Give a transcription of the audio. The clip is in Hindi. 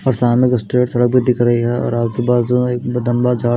और सामने सड़क पे दिख रही है और आजू बाजू में एक लम्बा झा--